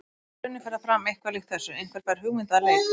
Í grunninn fer það fram eitthvað líkt þessu: Einhver fær hugmynd að leik.